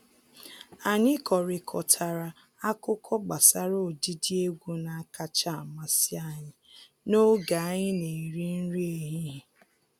Anyị kọrịkọtara akụkọ gbasara ụdịdị egwu na-akacha amasị anyị n’oge anyï na-eri nri ehihie.